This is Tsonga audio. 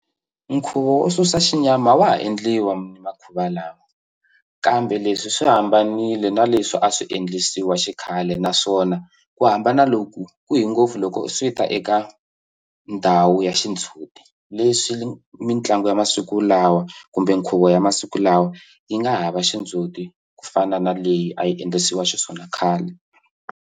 Nkhuvo wo susa xinyama wa ha endliwa makhuva lama kambe leswi swi hambanile na leswi a swi endlisiwa xikhale naswona ku hambana loku ku hi ngopfu loko swi ta eka ndhawu ya xindzhuti leswi mitlangu ya masiku lawa kumbe nkhuvo ya masiku lawa yi nga hava xindzuti ku fana na leyi a yi endlisiwa xiswona khale.